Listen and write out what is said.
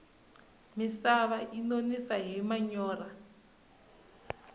misava yi nonisa hi manyorha